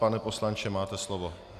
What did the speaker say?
Pane poslanče, máte slovo.